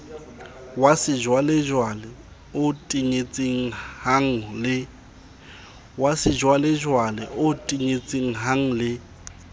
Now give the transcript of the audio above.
wa sejwalejwale o tenyetsehang le